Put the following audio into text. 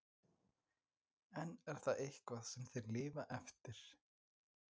En er það eitthvað sem þeir lifa eftir?